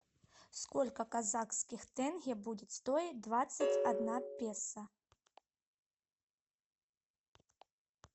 сколько казахских тенге будет стоить двадцать одно песо